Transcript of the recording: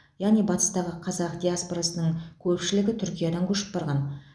яғни батыстағы қазақ диаспорасының көплішігі түркиядан көшіп барған